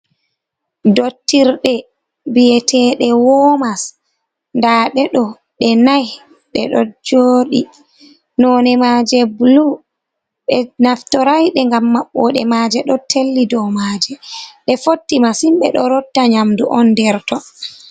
Dottirɗe biyete ɗe womas nda ɓedo ɓe nai ɓe ɗo joɗi none ma je blu be naftoraiɗe ngam maɓbode ma je ɗo telli dou maje be fotti masin ɓe ɗo rotta nyamdu on nder ton.